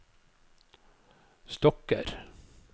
stokker